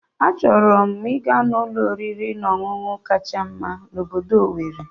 Achọrọ m ịga ụlọ oriri na ọṅụṅụ kacha mma na obodo Owerri